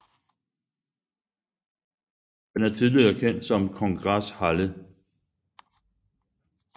Den er tidligere kendt som Kongresshalle